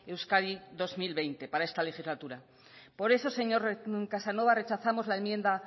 euskadi dos mil veinte para esta legislatura por eso señor casanova rechazamos la enmienda